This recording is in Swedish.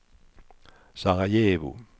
Sarajevo